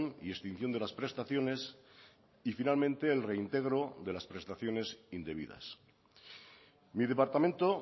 y extinción de las prestaciones y finalmente el reintegro de las prestaciones indebidas mi departamento